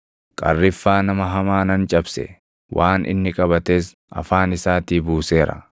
Qarriffaa nama hamaa nan cabse; waan inni qabates afaan isaatii buuseera.